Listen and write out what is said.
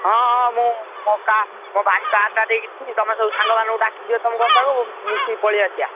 ହଁ ହଁ ମୁଁ ମୋ ଭାଇ car ଟା ନେଇକି ଯିବି ତମେ ସବୁ ସାଙ୍ଗମାନଙ୍କୁ ଡାକି ଦିଅ ତମ ଘର ପାଖକୁ ମିଶିକି ପଳେଇ ଆସିବା।